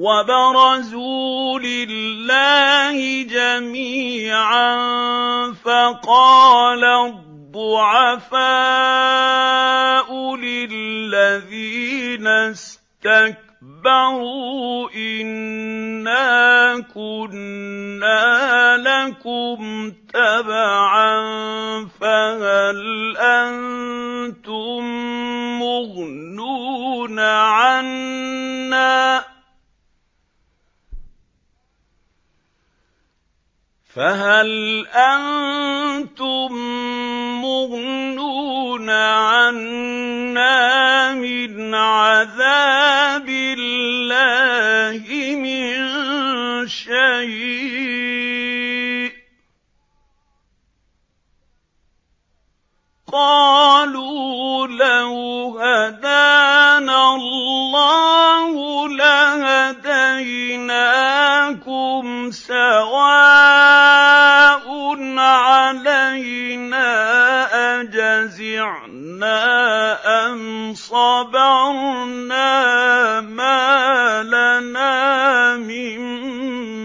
وَبَرَزُوا لِلَّهِ جَمِيعًا فَقَالَ الضُّعَفَاءُ لِلَّذِينَ اسْتَكْبَرُوا إِنَّا كُنَّا لَكُمْ تَبَعًا فَهَلْ أَنتُم مُّغْنُونَ عَنَّا مِنْ عَذَابِ اللَّهِ مِن شَيْءٍ ۚ قَالُوا لَوْ هَدَانَا اللَّهُ لَهَدَيْنَاكُمْ ۖ سَوَاءٌ عَلَيْنَا أَجَزِعْنَا أَمْ صَبَرْنَا مَا لَنَا مِن